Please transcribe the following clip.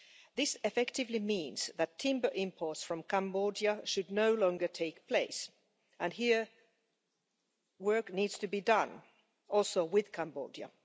This effectively means that timber imports from Cambodia should no longer take place and here work needs to be done, including with Cambodia.